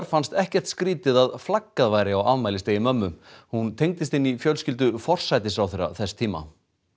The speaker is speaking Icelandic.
fannst ekkert skrýtið að flaggað væri á afmælisdegi mömmu hún tengdist inn í fjölskyldu forsætisráðherra þess tíma